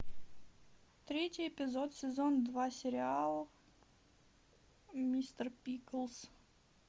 третий эпизод сезон два сериал мистер пиклз